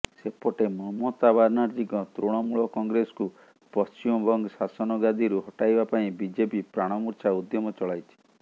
ସେପଟେ ମମତା ବାନାର୍ଜିଙ୍କ ତୃଣମୂଳ କଂଗ୍ରେସକୁ ପଶ୍ଚିମବଙ୍ଗ ଶାସନ ଗାଦିରୁ ହଟାଇବା ପାଇଁ ବିଜେପି ପ୍ରାଣମୂର୍ଚ୍ଛା ଉଦ୍ୟମ ଚଳାଇଛି